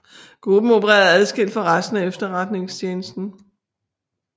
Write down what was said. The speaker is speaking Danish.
Gruppen opererede adskilt fra resten af Etterretningstjenesten